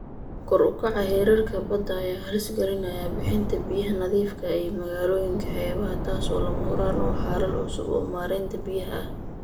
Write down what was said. Kor u kaca heerarka badda ayaa halis gelinaya bixinta biyaha nadiifka ah ee magaalooyinka xeebaha ah, taasoo lama huraan u ah xalal cusub oo maaraynta biyaha ah.